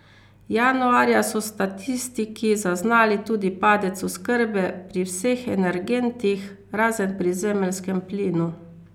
Januarja so statistiki zaznali tudi padec oskrbe pri vseh energentih, razen pri zemeljskemu plinu.